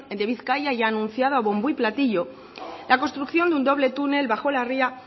de bizkaia ya ha anunciado a bombo y platillo la construcción de un doble túnel abajo la ría